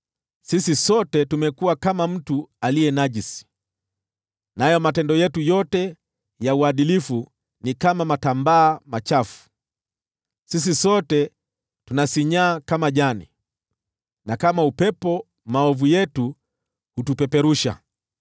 Sisi sote tumekuwa kama mtu aliye najisi, nayo matendo yetu yote ya uadilifu ni kama matambaa machafu; sisi sote tunasinyaa kama jani, na kama upepo maovu yetu hutupeperusha.